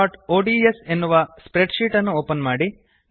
practiceಒಡಿಎಸ್ ಎನ್ನುವ spreadsheet ಅನ್ನು open ಮಾಡಿ